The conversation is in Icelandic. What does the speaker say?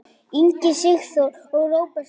Ingi Sigþór og Róbert Smári.